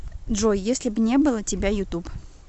джой если б не было тебя ютуб